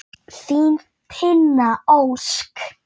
Þín, Tinna Ósk.